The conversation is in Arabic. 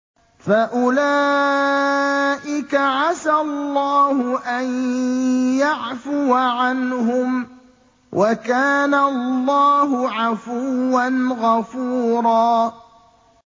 فَأُولَٰئِكَ عَسَى اللَّهُ أَن يَعْفُوَ عَنْهُمْ ۚ وَكَانَ اللَّهُ عَفُوًّا غَفُورًا